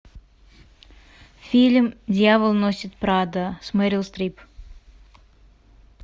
фильм дьявол носит прадо с мерил стрип